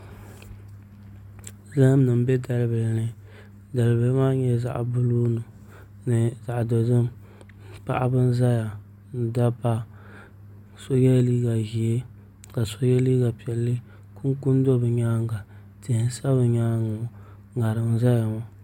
Zaham nim n bɛ dalibihi ni dalibihi maa nyɛla zaɣ buluu ni zaɣ dozim paɣaba n ʒɛya ni dabba so yɛla liiga ʒiɛ ka so yɛ liiga piɛlli kunkun do bi nyaanga tihi n sa bi nyaangi ŋɔ ŋarim n ʒɛya ŋɔ